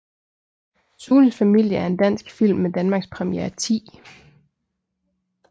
Sunes familie er en dansk film med Danmarkspremiere 10